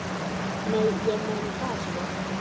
Nei, ég meina það, sko.